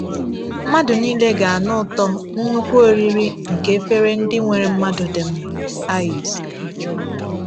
Mmadụ niile ga-anụ ụtọ “nnukwu oriri nke efere ndị nwere mmanụ dị mma.” — Aịz.